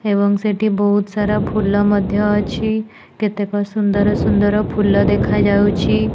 ଏବଂ ସେଠି ବୋହୁତ ସାରା ଫୁଲ ମଧ୍ୟ ଅଛି କେତେକ ସୁନ୍ଦର ସୁନ୍ଦର ଫୁଲ ଦେଖାଯାଉଛି।